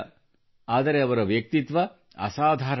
ಆದರೆ ಅವರ ವ್ಯಕ್ತಿತ್ವ ಅಸಾಧಾರಣ